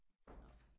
Så